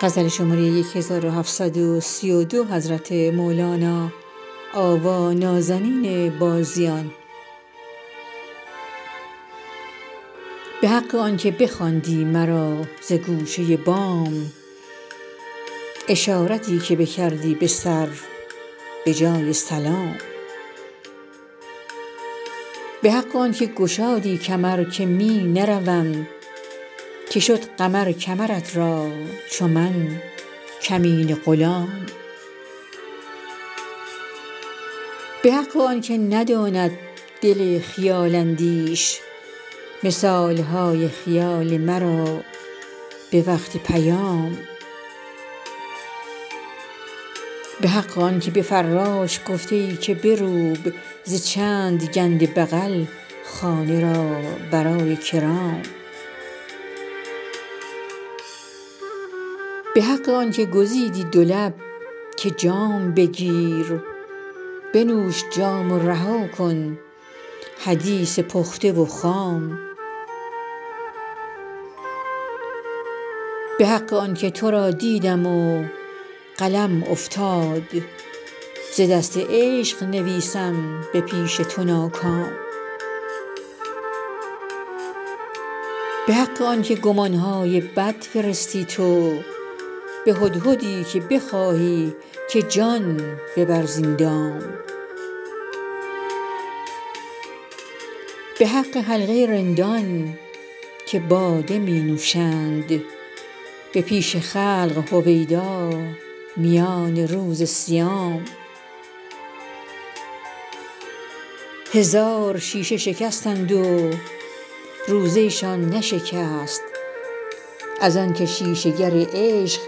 به حق آنک بخواندی مرا ز گوشه بام اشارتی که بکردی به سر به جای سلام به حق آنک گشادی کمر که می نروم که شد قمر کمرت را چو من کمینه غلام به حق آنک نداند دل خیال اندیش مثال های خیال مرا به وقت پیام به حق آنک به فراش گفته ای که بروب ز چند گنده بغل خانه را برای کرام به حق آنک گزیدی دو لب که جام بگیر بنوش جام رها کن حدیث پخته و خام به حق آنک تو را دیدم و قلم افتاد ز دست عشق نویسم به پیش تو ناکام به حق آنک گمان های بد فرستی تو به هدهدی که بخواهی که جان ببر زین دام به حق حلقه رندان که باده می نوشند به پیش خلق هویدا میان روز صیام هزار شیشه شکستند و روزه شان نشکست از آنک شیشه گر عشق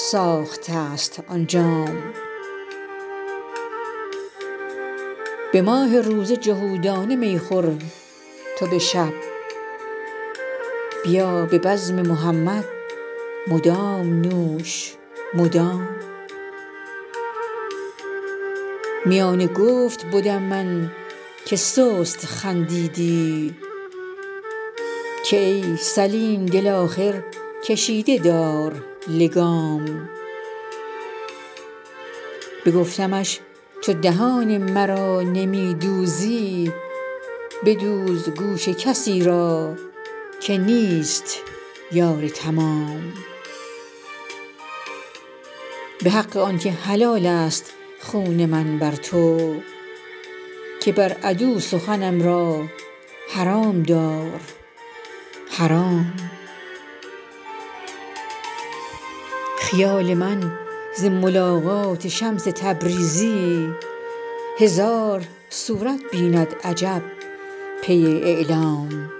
ساخته ست آن جام به ماه روزه جهودانه می مخور تو به شب بیا به بزم محمد مدام نوش مدام میان گفت بدم من که سست خندیدی که ای سلیم دل آخر کشیده دار لگام بگفتمش چو دهان مرا نمی دوزی بدوز گوش کسی را که نیست یار تمام به حق آنک حلال است خون من بر تو که بر عدو سخنم را حرام دار حرام خیال من ز ملاقات شمس تبریزی هزار صورت بیند عجب پی اعلام